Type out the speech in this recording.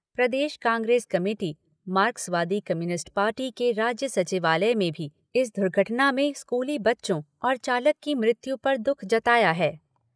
प्रदेश Congress committee, मार्क्सवादी communist party के राज्य सचिवालय में भी इस दुर्घटना में स्कूली बच्चों और चालक की मृत्यु पर दुख जताया है।